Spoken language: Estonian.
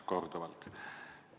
Korduvalt!